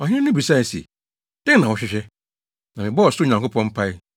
Ɔhene no bisae se, “Dɛn na wohwehwɛ?” Na mebɔɔ ɔsoro Nyankopɔn mpae,